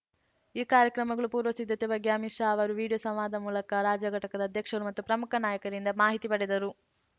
ಈ ಕಾರ್ಯಕ್ರಮಗಳ ಪೂರ್ವ ಸಿದ್ಧತೆ ಬಗ್ಗೆ ಅಮಿತ್‌ ಶಾ ಅವರು ವಿಡಿಯೋ ಸಂವಾದ ಮೂಲಕ ರಾಜ್ಯ ಘಟಕದ ಅಧ್ಯಕ್ಷರು ಮತ್ತು ಪ್ರಮುಖ ನಾಯಕರಿಂದ ಮಾಹಿತಿ ಪಡೆದರು